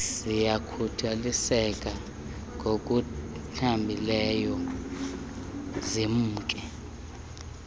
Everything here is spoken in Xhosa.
ziyakhukuliseka ngokuthambileyo zimke